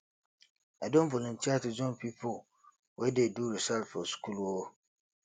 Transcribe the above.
i don volunteer to join pipo wey dey do research for skool um